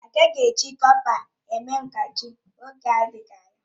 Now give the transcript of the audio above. A gaghị eji kọpa mee mgbájí n'oge adịghị anya.